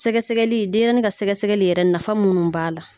Sɛgɛsɛgɛli denɲɛrɛnin ka sɛgɛsɛgɛli yɛrɛ nafa minnu b'a la